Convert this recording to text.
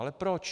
Ale proč?